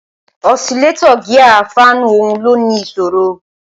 ọ̀silétọ́ gíà fáànù ọ̀hún ló ní ìṣòro